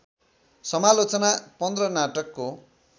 समालोचना १५ नाटकको